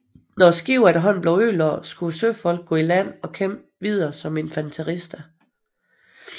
Når skibene efterhånden blev ødelagt skulle søfolkene gå i land og kæmpe videre som infanterister